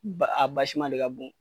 Ba a basima le ka bon.